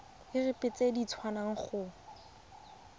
irp se se tswang go